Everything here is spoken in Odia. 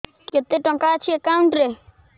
କେତେ ଟଙ୍କା ଅଛି ଏକାଉଣ୍ଟ୍ ରେ